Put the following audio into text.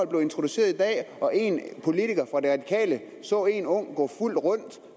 blev introduceret i dag og en politiker fra de radikale så en ung gå fuld rundt